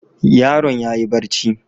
Yaron yayi bacci.